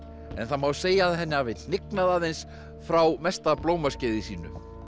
en það má segja að henni hafi hnignað aðeins frá mesta blómaskeiði sínu